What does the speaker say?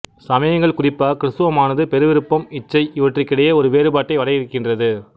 சமயங்கள் குறிப்பாக கிறித்துவமானது பெருவிருப்பம் இச்சை இவற்றுக்கிடையே ஒரு வேறுபாட்டை வரையறுக்கின்றது